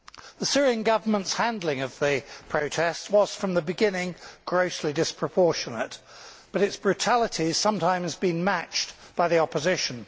The Syrian government's handling of the protest was, from the beginning, grossly disproportionate, but its brutality has sometimes been matched by the opposition.